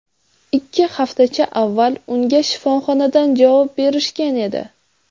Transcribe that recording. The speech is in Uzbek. Ikki haftacha avval unga shifoxonadan javob berishgan edi.